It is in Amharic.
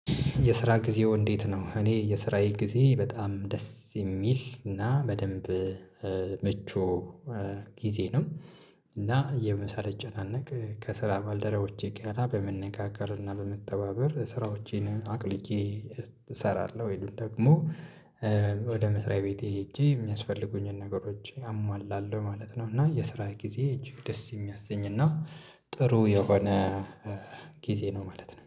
የስራ ጊዜዎ እንዴት ነው? እኔ የስራዬ ጊዜ በጣም ደስ የሚል እና በደንብ ምቹ ጊዜ ነው። እና የምሳን ሳልጨናነቅ ከስራ ባልደረቦቼ ጋራ በመነጋገር እና በመተባበር ስራዎቼን አቅልዬ እሰራለሁ ወይም ደግሞ ወደ መስሪያ ቤቴ ሄጄ የሚያስፈልጉኝን ነገሮች አሟላለሁ ማለት ነው። እና የስራ ጊዜዬ እጅግ ደስ የሚያሰኝ እና ጥሩ የሆነ ጊዜ ነው ማለት ነው